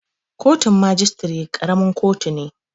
Kotun majistare ƙaramin kotu ne